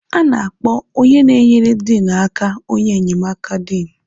A na-akpọ onye na-enyere Diinụ aka onye nnyemaka Diinụ.